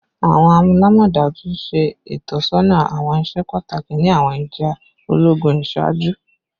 Awọn alamọdaju ṣe itọsọna awọn iṣẹ pataki ni awọn ija ologun iṣaaju